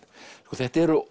þetta eru